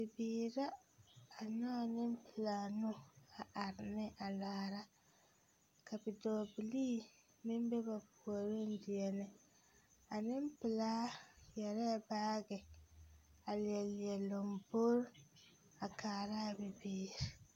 Bibiiri la a nyɔge nempelaa nu a are ne a laara ka bidɔɔbilii meŋ be ba puoriŋ deɛnɛ a nempelaa yɛrɛɛ baage a la leɛ lambori a kaara a bibiiri.